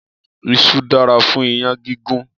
Isu dára fún iyán gígún.